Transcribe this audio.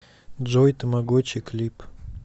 джой тамагочи клип